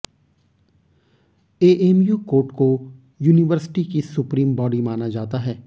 AMU court को university की supreme body माना जाता है